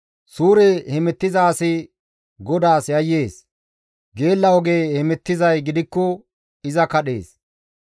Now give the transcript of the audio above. Suure hemettiza asi GODAAS yayyees; geella oge hemettizay gidikko iza kadhees.